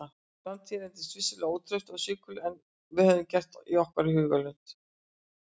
Framtíðin reyndist vissulega ótraust og svikulli miklu en við höfðum gert okkur í hugarlund.